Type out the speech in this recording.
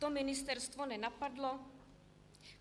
To ministerstvo nenapadlo?